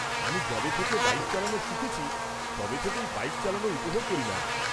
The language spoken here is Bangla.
-আমি যবে থেকে বাইক চালানো শিখেছি তবে থেকেই বাইক চালানো উপভোগ করি ম্যাম।